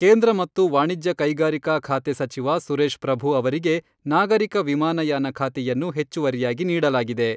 ಕೇಂದ್ರ ಮತ್ತು ವಾಣಿಜ್ಯ ಕೈಗಾರಿಕಾ ಖಾತೆ ಸಚಿವ ಸುರೇಶಪ್ರಭು ಅವರಿಗೆ ನಾಗರಿಕ ವಿಮಾನಯಾನ ಖಾತೆಯನ್ನು ಹೆಚ್ಚುವರಿಯಾಗಿ ನೀಡಲಾಗಿದೆ.